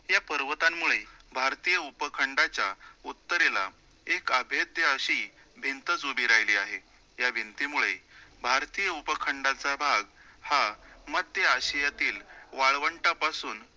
या पर्वतांमुळे भारतीय उपखंडाच्या उत्तरेला एक अभेद्य अशी भिंतच उभी राहिली आहे, त्या भिंतीमुळे भारतीय उपखंडाचा भाग हा मध्य आशियातील वळवंटापासून